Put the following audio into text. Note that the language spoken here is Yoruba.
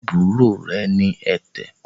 àbúrò rẹ̀ ní ẹ̀tẹ̀